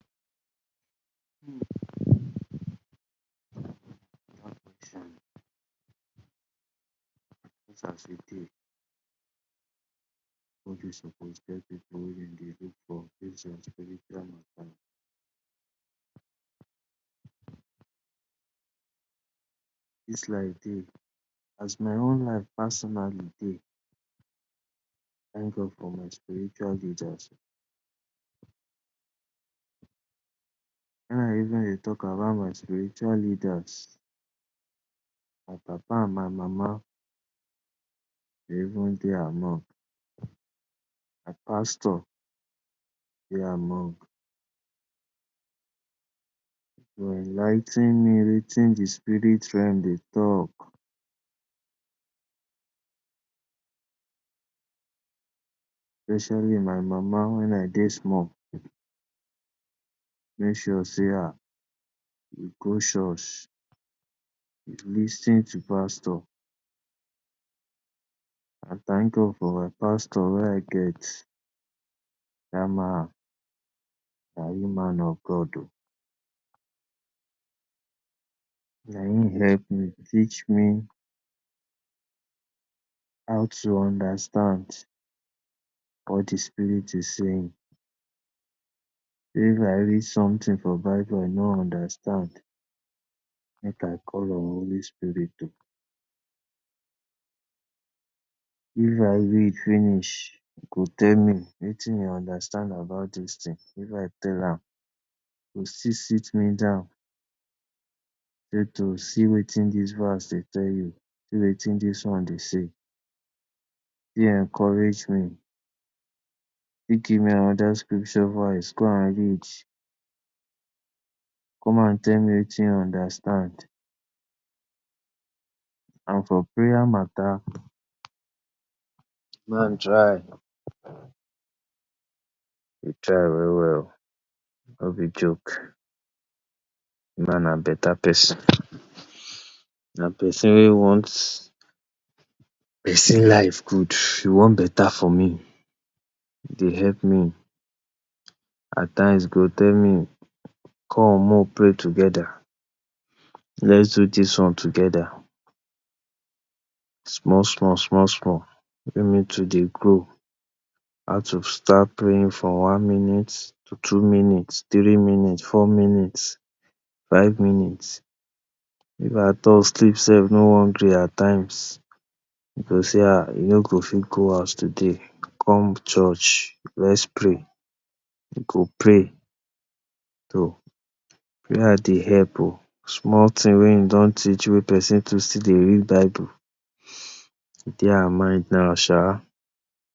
dis life dey as my own life personally dey thank God for my spiritual leaders when I even dey talk about my spiritual leaders, my papa and my mama dem even dey among, my pastor dey among to enligh ten me wetin de spirit realm dey talk especially my mama when I dey small. Make sure sey um I go church, lis ten to pastor, I thank God for my pastor wey I get dat man na real man of God um na im help me teach me how to understand what de spirit is saying. If I read something for bible I no understand make I call on holy spirit oh if I read finish e go tell me wetin you understand about dis thing, if I tell am e go still sit me down sey to see wetin dis verse dey tell you, see wetin dis one dey say. encourage me, give me another scripture verse go and read, come and tell me wetin you understand and for prayer matter de man try, e try well well oh no be joke de man na better person. Na pesin wey want pesin life good e want better for me. E dey help me, at times go tell me come make we pray together, let’s do dis one together small small small small me too dey grow how to start praying for one minute to two minute, three minute, four minute, five minute if at all sleep self no wan gree at times, e go sey um I no go fit go house today come church let’s pray, im go pray, to prayer dey help oh. Small thing wey e don teach wey person to still dey read bible dey our mind now sha.